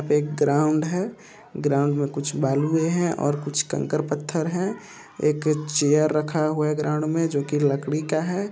यहां पे एक ग्राउंड है ग्राउंड में कुछ बालूयें है और कुछ कंकड़ पत्थर है एक चेयर रखा हुआ है ग्राउंड में जो कि लकड़ी का है।